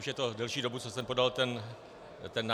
Už je to delší dobu, co jsem podal ten návrh.